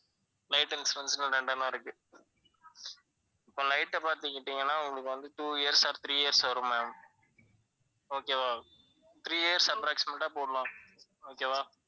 light insurance னு இருக்கு. இப்போ light ல பாத்துக்கிட்டீங்கன்னா உங்களுக்கு வந்து two years or three years வரும் ma'am. okay வா three years approximate ஆ போடலாம் okay வா